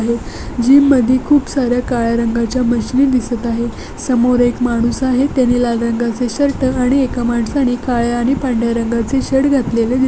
Gym मध्ये खूप सार्‍या काळ्या रंगाचे मशीन दिसत आहेत समोर एक माणूस आहे त्यांनी लाल रंगाचे शर्ट आणि एका माणसाने काळ्या आणि पांढर्‍या रंगाचे शर्ट घातलेले दिसत आहे.